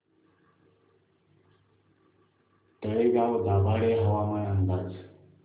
तळेगाव दाभाडे हवामान अंदाज